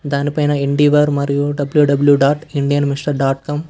దానిపైన ఎన్డీవర్ మరియు W W dot Indian mister dot com --